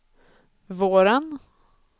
våren